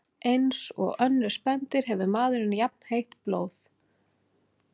Eins og önnur spendýr hefur maðurinn jafnheitt blóð.